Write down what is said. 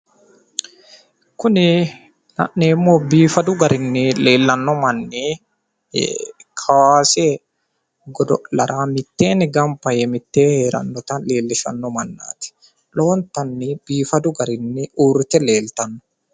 Kuni la'neemmohu biifadu garinni leellanno manni kowaase godo'lara mitteenni gamba yee mittee heerannota leellishanno mannaati. Lowontanni biifadu garinni uurrite leeltanno.